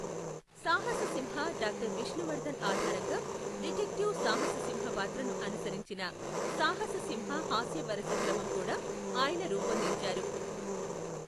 సాహస సింహ డాక్టర్ విష్ణువర్ధన్ ఆధారంగా , డిటెక్టివ్ సాహస సింహ పాత్రను అనుసరించిన సాహస సింహ హాస్య వరస క్రమం కూడా, ఆయన రూపొందించారు.